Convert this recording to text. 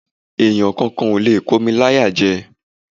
Èèyàn kankan ò lè kó mi láyàjẹ